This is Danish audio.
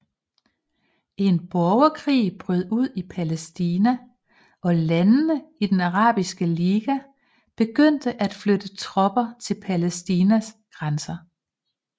En borgerkrig brød ud i Palæstina og landene i den Arabiske Liga begyndte at flytte tropper til Palæstinas grænser